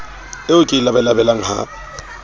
eo ke e labalabelang ha